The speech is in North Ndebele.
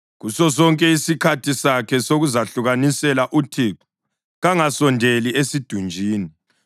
Kusosonke isikhathi sakhe sokuzahlukanisela uThixo kangasondeli esidunjini.